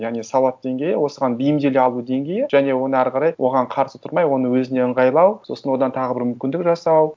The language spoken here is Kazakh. яғни сауат деңгейі осыған бейімделе алу деңгейі және оны ары қарай оған қарсы тұрмай оны өзіне ыңғайлау сосын одан тағы бір мүмкіндік жасау